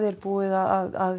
er búið að